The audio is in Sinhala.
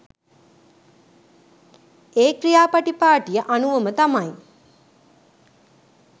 ඒ ක්‍රියා පටිපාටිය අනුවම තමයි.